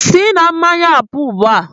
Sị na mmanya ahụ pụọ ugbu a!